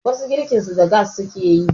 wasu girkinsu da gas suke yi